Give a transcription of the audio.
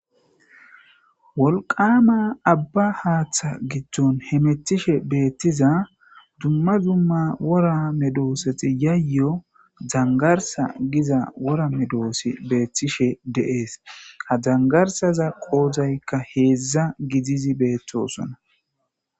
Wolqama aba Hatha gidon hamutishe bettiza dumma dumma wora medosati yayo dangarsa gizo Giza wora medoti betishe de'es. Ha dangarsaza qodayka hezhu gididi betosona.